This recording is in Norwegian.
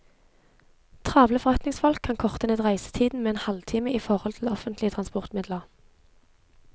Travle forretningsfolk kan korte ned reisetiden med en halvtime i forhold til offentlige transportmidler.